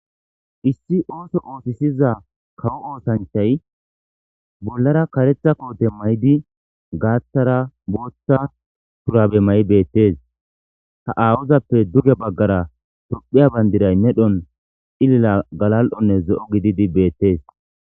Issi ooso oosisiza kawo oosancthay bollara karetha koote maydi gaathara booththa purabe may7 beettes ta aawozappe duge baggara tophiya bayndiray medhon ilila galal7onne ze7o gididi beettees.